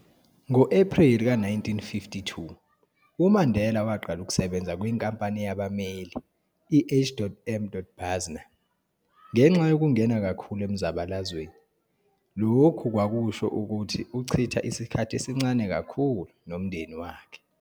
Ngo-Epreli ka-1952, uMandela waqala ukusebenza kwinkampani yabammeli i-H. M. Basner, ngenxa yokungena kakhulu emzabalazweni, lokhu kwakusho ukuthi uchitha isikhathi esincane kakhulu nomndeni wakhe.